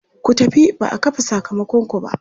Ku tafi ba a kafe sakamakonku ba!